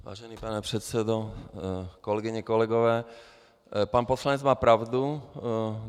Vážený pane předsedo, kolegyně, kolegové, pan poslanec má pravdu.